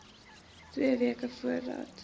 twee weke voordat